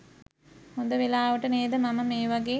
හොඳ වෙලාවට නේද මම මේ වගේ